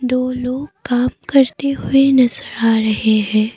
दो लोग काम करते हुए नजर आ रहे हैं।